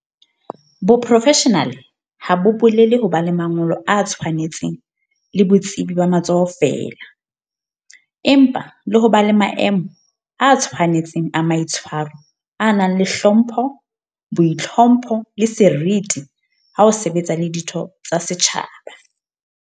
Boprofeshenale ha bo bolele ho ba le mangolo a tshwanetseng le botsebi ba matsoho feela, empa le ho ba le maemo a tshwane tseng a maitshwaro a nang le hlompho, boitlhompho, le seriti ha o sebetsa le ditho tsa setjhaba.